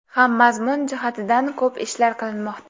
ham mazmun jihatidan ko‘p ishlar qilinmoqda.